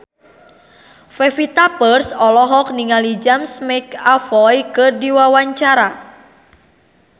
Pevita Pearce olohok ningali James McAvoy keur diwawancara